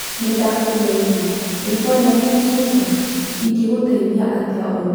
Nĩ ndakũgeithia! Rĩĩtwa rĩakwa nĩ Suzane. Ingĩgũteithia atĩa ũmũthĩ?